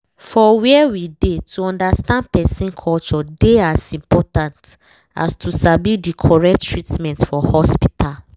for where we dey to understand person culture dey as important as to sabi the correct treatment for hospital